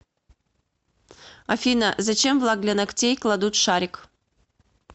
афина зачем в лак для ногтей кладут шарик